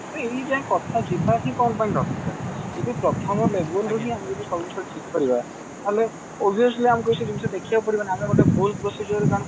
ତ ଏଇ ଯାଏଁ କଥା ଯିବା ହିଁ କଣ ପାଇଁ ଦରକାର ଯଦି ପ୍ରଥମ label ରୁ ହିଁ ଜଡ ଆମେ ସବୁ ଜିନିଷ ଠିକ କରିବା ତାହେଲ obviously ଆମକୁ ଅସବୁ ଜିନିଷ ଦେଖିବାକୁ ପଡିବ ନାହିଁ ଆମେ ଗୋଟେ ଭୁଲ prosier